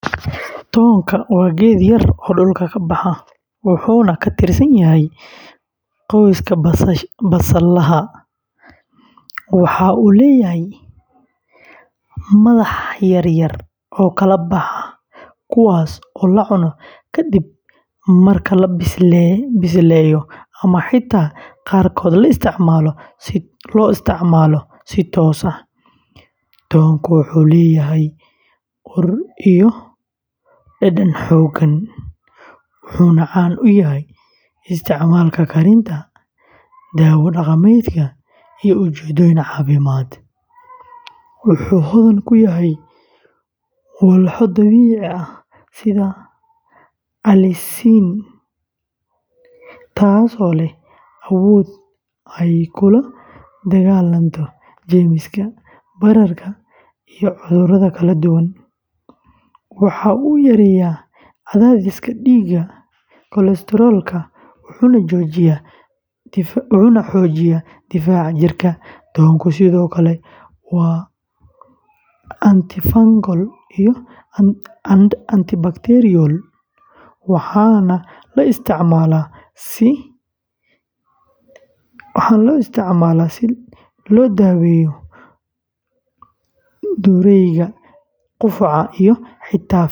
Toon waa geed yar oo dhulka ka baxa, wuxuuna ka tirsan yahay qoyska basalaha . Waxa uu leeyahay madax yaryar oo kala baxa, kuwaas oo la cuno kadib marka la bisleeyo ama xitaa qaarkood la isticmaalo si toos ah. Toonku wuxuu leeyahay ur iyo dhadhan xooggan, wuxuuna caan ku yahay isticmaalka karinta, daawo dhaqameedka, iyo ujeeddooyin caafimaad. Wuxuu hodan ku yahay walxo dabiici ah sida allicin, taasoo leh awood ay kula dagaallanto jeermiska, bararka, iyo cudurrada kala duwan. Waxa uu yareeyaa cadaadiska dhiigga, kolestaroolka, wuxuuna xoojiyaa difaaca jirka. Toonku sidoo kale waa antifungal iyo antibacterial, waxaana la isticmaalaa si loo daaweeyo durayga, qufaca, iyo xitaa finanka maqaarka.